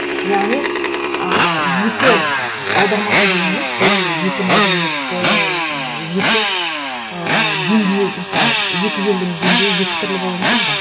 яғни ыыы екі аудармашы дегеніміз бұл екі мәдениетті екі ыыы деңгейі мысалы екі елдің деңгейі екі түрлі болуы мүмкін ғой